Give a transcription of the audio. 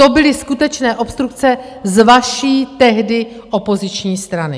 To byly skutečné obstrukce z vaší tehdy opoziční strany.